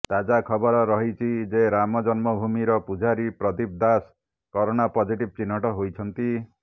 ତାଜା ଖବର ରହିଛି ଯେ ରାମ ଜନ୍ମଭୂମିର ପୂଜାରୀ ପ୍ରଦୀପ ଦାଶ କରୋନା ପଜିଟିଭ ଚିହ୍ନଟ ହୋଇଛନ୍ତି